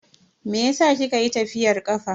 Meyasa kika yi tafiyar kafa?